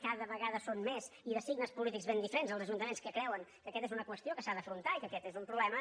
cada vegada són més i de signes polítics ben diferents els ajuntaments que creuen que aquesta és una qüestió que s’ha d’afrontar i que aquest és un problema